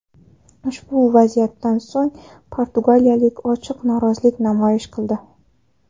Ushbu vaziyatdan so‘ng portugaliyalik ochiq norozilik namoyish qildi.